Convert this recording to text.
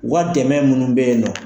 U ka dɛmɛ munnu bɛ ye nɔ.